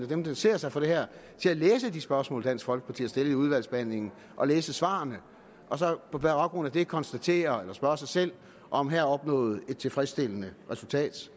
der interesserer sig for det her til at læse de spørgsmål dansk folkeparti har stillet i udvalgsbehandlingen og læse svarene og så på baggrund af det konstatere eller spørge sig selv om her er opnået et tilfredsstillende resultat